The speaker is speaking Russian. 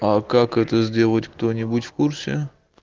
а как это сделать кто-нибудь в курсе